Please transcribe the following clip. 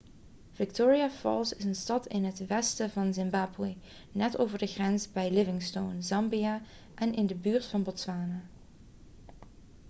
victoria falls is een stad in het westen van zimbabwe net over de grens bij livingstone zambia en in de buurt van botswana